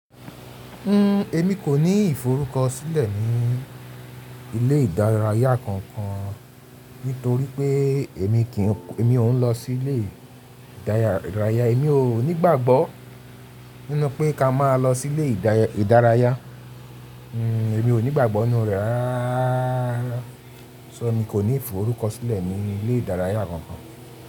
N, èmi kò ní ìforúkọ sílẹ̀ ní ilé ìdárayá kankan nítorí pé èmi kì ń, èmi ò ń lọ sí ilé ìdárayá. Èmi ò nígbàgbọ́ nínú pé ká máa lọ sí ilé ìdárayá. Èmi ò nígbàgbọ́ nínú rẹ̀ rárá. So èmi kò ní ìforúkọ sílẹ̀ ní ilé ìdárayá kankan.